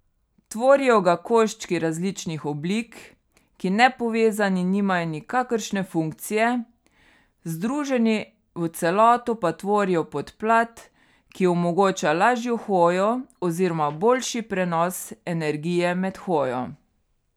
Tvorijo ga koščki različnih oblik, ki nepovezani nimajo nikakršne funkcije, združeni v celoto pa tvorijo podplat, ki omogoča lažjo hojo oziroma boljši prenos energije med hojo.